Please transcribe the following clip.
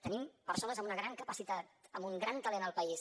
tenim persones amb una gran capacitat amb un gran talent al país